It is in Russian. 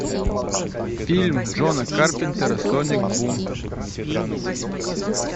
фильм джона карпентера соник бум